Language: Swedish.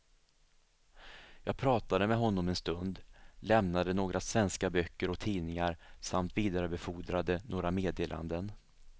Jag pratade med honom en stund, lämnade några svenska böcker och tidningar samt vidarebefodrade några meddelanden.